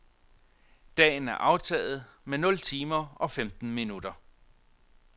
Dagen er aftaget med nul timer og femten minutter.